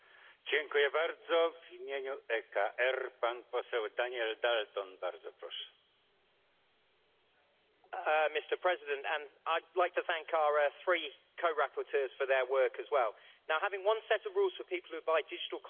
Mr President, I would like to thank our three co rapporteurs for their work as well. Having one set of rules for people who buy digital content and services across Europe will make life easier for consumers and businesses alike.